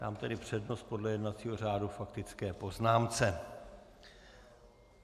Dám tedy přednost podle jednacího řádu faktické poznámce.